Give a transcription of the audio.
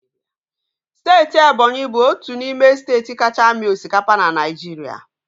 Steeti Ebonyi bụ otu n'ime steeti kacha amị osikapa na Naịjirịa.